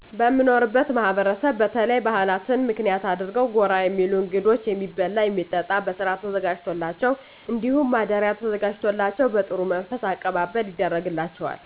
በምኖርበት ማህበረሰብ በተለይ ባህላትን ምክንያት አድርገው ጎራ የሚሉ እንግዶች የሚበላ የሚጠጣ በስርአት ተዘጋጅቶላቸው እንዲሁም ማደሪያ ተዘጋጅቶላቸው በጥሩ መንፈስ አቀባበል ይደረጋል።